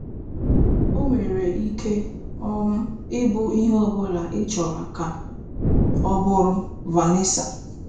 Ọ nwere ike um ịbụ ihe ọ bụla ịchọrọ ka ọ bụrụ. "- Vanessa.